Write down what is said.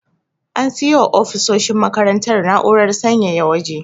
An siyo wa ofisoshin makarantar na'urar sanyaya waje.